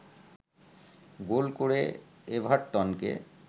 গোল করে এভারটনকে